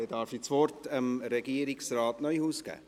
Nun darf ich Regierungsrat Neuhaus das Wort geben.